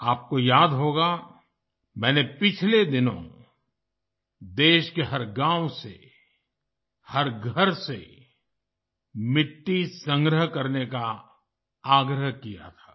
आपको याद होगा मैंने पिछले दिनों देश के हर गाँव से हर घर से मिट्टी संग्रह करने का आग्रह किया गया था